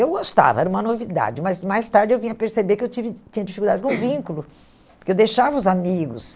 Eu gostava, era uma novidade, mas mais tarde eu vinha a perceber que eu tive tinha dificuldade com vínculo, porque eu deixava os amigos.